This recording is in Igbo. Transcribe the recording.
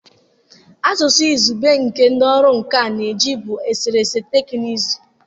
Asụsụ izugbe nke ndị ọrụ nka na-eji bụ eserese teknụzụ.